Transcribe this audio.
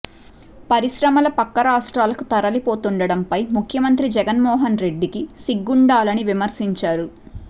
పరిశ్రమలు పక్క రాష్ట్రాలకు తరలిపోతుండటం ఫై ముఖ్యమంత్రి జగన్ మోహన్ రెడ్డి కి సిగ్గుండాలి అని విమర్శించారు